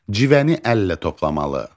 Civəni əllə toplamalı.